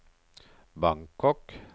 Bangkok